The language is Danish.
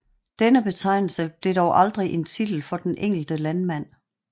Denne betegnelse blev dog aldrig en titel for den enkelte landmand